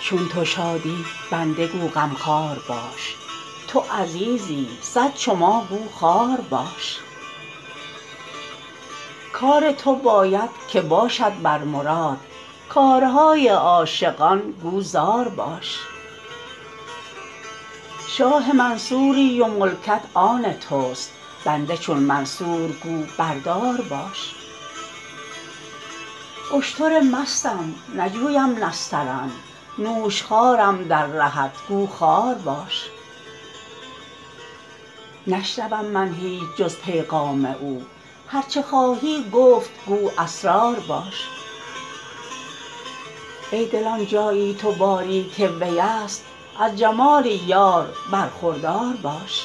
چون تو شادی بنده گو غمخوار باش تو عزیزی صد چو ما گو خوار باش کار تو باید که باشد بر مراد کارهای عاشقان گو زار باش شاه منصوری و ملکت آن توست بنده چون منصور گو بر دار باش اشتر مستم نجویم نسترن نوشخوارم در رهت گو خار باش نشنوم من هیچ جز پیغام او هر چه خواهی گفت گو اسرار باش ای دل آن جایی تو باری که ویست از جمال یار برخوردار باش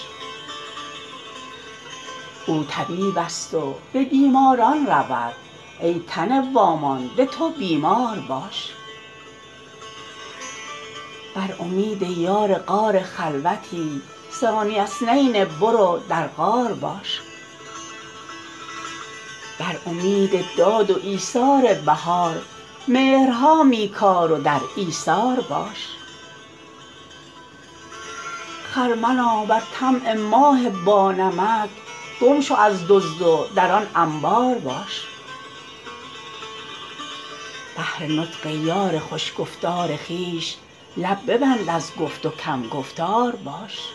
او طبیبست و به بیماران رود ای تن وامانده تو بیمار باش بر امید یار غار خلوتی ثانی اثنین برو در غار باش بر امید داد و ایثار بهار مهرها می کار و در ایثار باش خرمنا بر طمع ماه بانمک گم شو از دزد و در آن انبار باش بهر نطق یار خوش گفتار خویش لب ببند از گفت و کم گفتار باش